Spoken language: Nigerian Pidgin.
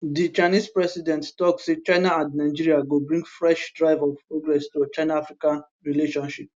di chinese president tok say china and nigeria go bring fresh drive of progress to chinaafrica relationship